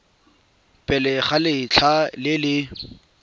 pele ga letlha le le